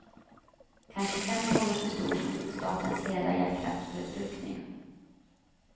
Kanske fem gånger så stor som statens hela elkraftförbrukning.